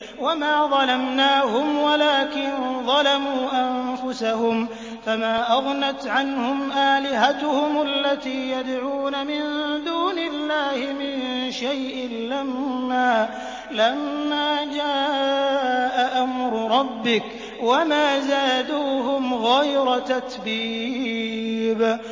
وَمَا ظَلَمْنَاهُمْ وَلَٰكِن ظَلَمُوا أَنفُسَهُمْ ۖ فَمَا أَغْنَتْ عَنْهُمْ آلِهَتُهُمُ الَّتِي يَدْعُونَ مِن دُونِ اللَّهِ مِن شَيْءٍ لَّمَّا جَاءَ أَمْرُ رَبِّكَ ۖ وَمَا زَادُوهُمْ غَيْرَ تَتْبِيبٍ